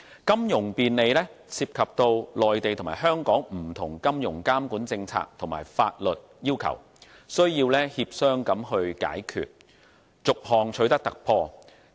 金融便利涉及內地和香港的不同金融監管政策和法律要求，需要協商解決，逐項取得突破。